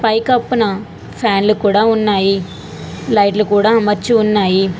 పైకప్పున ఫ్యాన్లు కూడా ఉన్నాయి లైట్లు కూడా అమర్చి ఉన్నాయి.